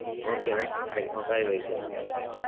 Okay ನಾ ಸರಿ bye bye .